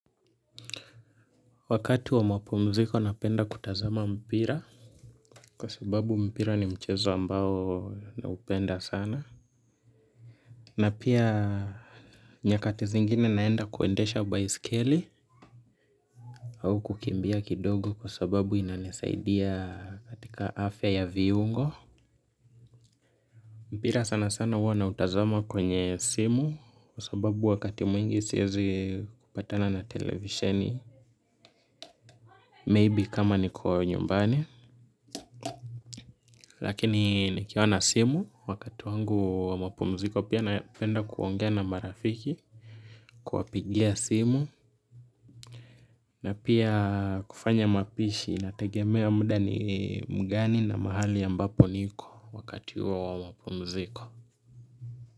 Wakati wa mapumziko napenda kutazama mpira, kwa sababu mpira ni mchezo ambao na upenda sana. Na pia nyakati zingine naenda kuendesha baiskeli au kukimbia kidogo kwa sababu inanisaidia katika afya ya viungo. Mpira sana sana huwa na utazama kwenye simu kwa sababu wakati mwingi siwezi kupatana na televisheni. Maybe kama niko nyumbani lakini nikiona simu, wakati wangu wa mapumziko, pia napenda kuongea na marafiki kuwapigia simu na pia kufanya mapishi inategemea muda ni mgani na mahali ambapo niko wakati huo mapumziko.